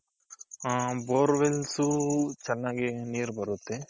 ಹ bore wells ಚೆನ್ನಾಗೆ ನೀರ್ ಬರುತ್ತೆ.